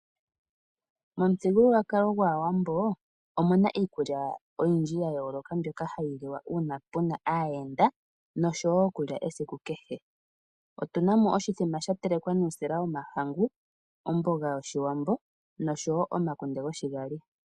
Momuthigululwakalo gwaAwambo, omu na iikulya oyindj ya yooloka, mbyoka yi liwa uuna pu na aayenda, nodho wo ĺku lya esiku kehe. Otu na mo oshithima sha telekwa nuusila womahangu, omboga yoshiwambo nosho wo omakunde goshigali.